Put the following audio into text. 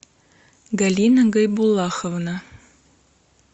галина гайбуллаховна